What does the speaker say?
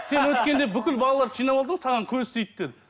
сен өткенде бүкіл балаларды жинап алдың ғой саған көз тиді деді